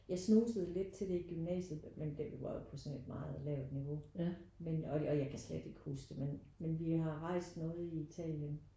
Jeg snusede lidt til det i gymnasiet men det var jo på sådan et meget lavt niveau. Men og og jeg kan slet ikke huske det men men vi har rejst noget i Italien